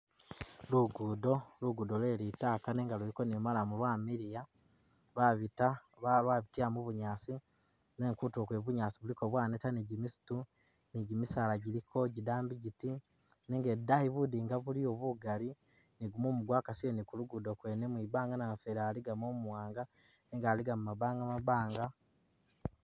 Lugudo, lugudo lwe litaka nenga luliko ni maramu lwamiliya, lwabita lwabitila mu bunyaasi nenga kutulo kwene kuliko bunyaasi bwaneta ni gimisitu ,ni gi misaala giliko gidambi giti, nenga idaayi budinga buliyo bugali ni gumumu gwakasile ni ku lugudo kwene mwibanga namufeeli aligamo umuwanga nenga aliga mu mabanga mabanga.